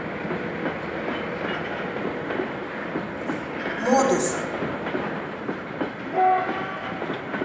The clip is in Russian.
модус